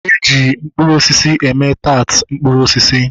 Eji mkpụrụ osisi eme taat mkpụrụ osisi